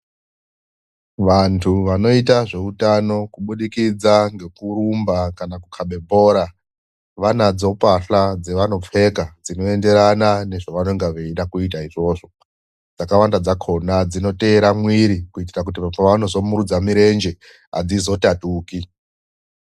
Vantu vanoita zveutano kubudikidza ngekurumba kana kukhabe bhora vanadzo pahla dzevanopfeka dzinoenderana nezvanonga veida kuita izvozvo. Dzakawanda dzakhona dzinoteera mwiri kuitira kuti pevanozomirudza mirenje adzizotatuki.